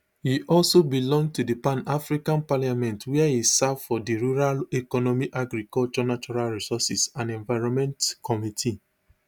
e also belong to di pan african parliament wia e serve for di rural economy agriculture natural resources and environment committee